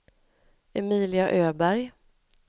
Emilia Öberg